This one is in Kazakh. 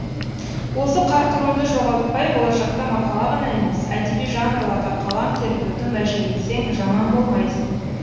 осы қарқыныңды жоғалтпай болашақта мақала ғана емес әдеби жанрларға қалам тербеуді межелесең жаман болмайсың